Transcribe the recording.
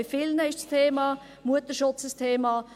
Bei vielen ist Mutterschutz ein Thema;